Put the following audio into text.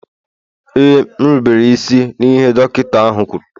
Ee, m rubere isi n'ihe dọkịta ahụ kwuru